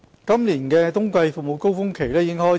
今年的冬季服務高峰期已開始。